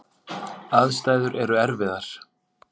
Aðstæður eru erfiðar.